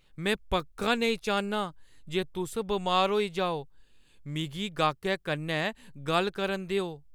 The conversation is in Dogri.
मैं पक्का नेईंं चाह्न्नां जे तुस बमार होई जाओ। मिगी गाह्कै कन्नै गल्ल करन देओ ।